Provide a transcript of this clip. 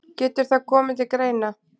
Getur það komið til greina.